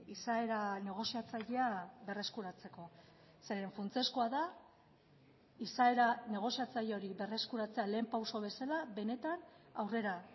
izaera negoziatzailea berreskuratzeko zeren funtsezkoa da izaera negoziatzaile hori berreskuratzea lehen pauso bezala benetan aurrera